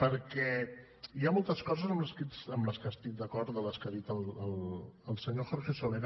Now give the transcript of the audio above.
perquè hi ha moltes coses amb les quals estic d’acord de les que ha dit el senyor jorge soler